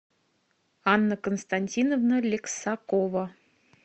анна константиновна лексакова